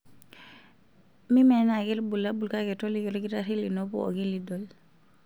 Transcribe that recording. Mimenaa ake ilbulabul kake toliki olkitarri lino pooki lidol.